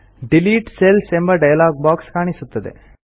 delete cells ಎಂಬ dialog box ಕಾಣಿಸುತ್ತದೆ